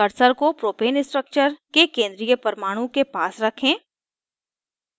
cursor को propane structure के केंद्रीय परमाणु के पास रखें